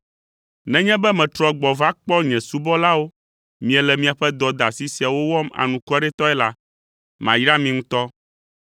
Nenye be metrɔ gbɔ va kpɔ nye subɔlawo miele miaƒe dɔdeasi siawo wɔm anukwaretɔe la, mayra mi ŋutɔ.